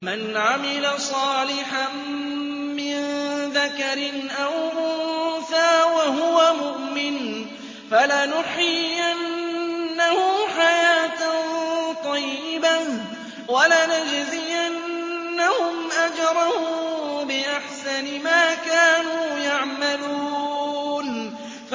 مَنْ عَمِلَ صَالِحًا مِّن ذَكَرٍ أَوْ أُنثَىٰ وَهُوَ مُؤْمِنٌ فَلَنُحْيِيَنَّهُ حَيَاةً طَيِّبَةً ۖ وَلَنَجْزِيَنَّهُمْ أَجْرَهُم بِأَحْسَنِ مَا كَانُوا يَعْمَلُونَ